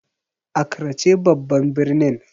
Accra ce babban birnin.